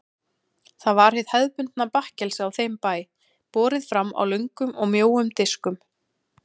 Það var hið hefðbundna bakkelsi á þeim bæ, borið fram á löngum og mjóum diskum.